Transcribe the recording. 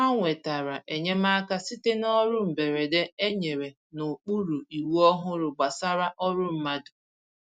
Ha nwetàrà enyemaka site n’ọrụ mberede e nyere n’okpuru iwu ọhụrụ gbasàra ọrụ mmadụ